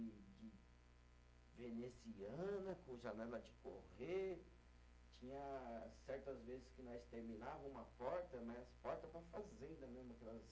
veneziana, com janela de correr, tinha certas vezes que nós terminava uma porta, mas as portas para fazenda mesmo, aquelas